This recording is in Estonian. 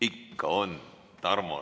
Ikka on!